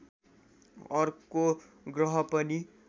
अर्को ग्रह पनि